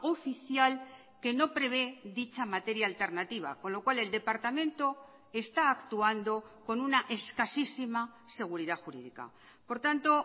oficial que no prevé dicha materia alternativa con lo cual el departamento está actuando con una escasísima seguridad jurídica por tanto